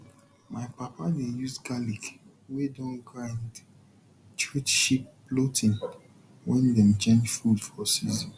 my papa dey use garlic wey don grind treat sheep bloating when dem change food for season